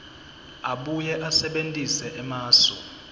abuye asebentise emasu